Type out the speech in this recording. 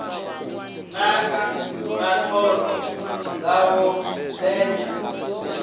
naka na thoro dzawo ndenya